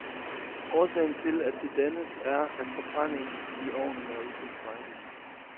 Årsagen til, at det dannes, er, at forbrændingen i ovnen er utilstrækkelig.